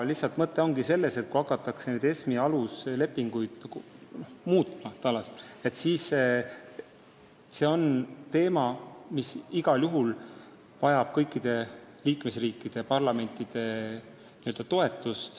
Mõte ongi selles, et kui nüüd hakatakse ESM-i aluslepinguid muutma, siis see vajab igal juhul kõikide liikmesriikide parlamentide toetust.